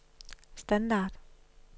standard